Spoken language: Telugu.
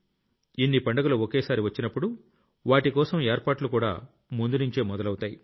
ఇన్ని పండుగలు ఒకేసారి వచ్చినప్పుడు వాటికోసం ఏర్పాట్లుకూడా ముందునుంచే మొదలవుతాయి